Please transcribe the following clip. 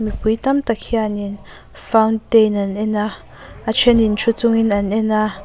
mipui tam tak hianin fountain an en a a thenin thu chungin an en a.